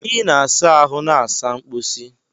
Ị na-asa ahụ na saa mposi.